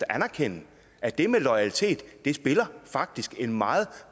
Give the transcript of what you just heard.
anerkende at det med loyalitet faktisk spiller en meget